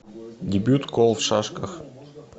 дебют кол в шашках